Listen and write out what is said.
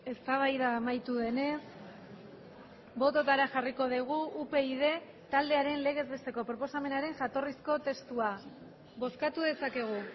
eztabaida amaitu denez bototara jarriko dugu upyd taldearen legez besteko proposamenaren jatorrizko testua bozkatu dezakegu